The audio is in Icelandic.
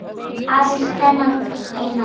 Aðeins þennan eina dag!